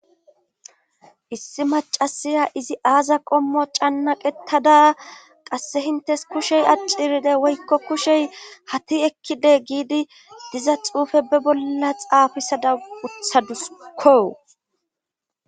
issi macasiya izi aaza qommo cannaqetada qasse hintes kushey aciride woykko kushey hati ekkide giidi diza xuufe be bolla xaafisada uthadusko